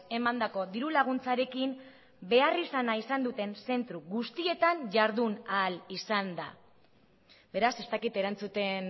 emandako diru laguntzarekin behar izana izan duten zentro guztietan jardun ahal izan da beraz ez dakit erantzuten